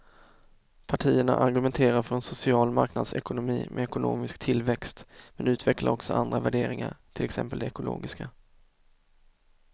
Partierna argumenterar för en social marknadsekonomi med ekonomisk tillväxt men utvecklar också andra värderingar, till exempel de ekologiska.